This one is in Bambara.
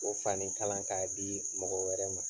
K'o fani kala k'a di mɔgɔ wɛrɛ ma.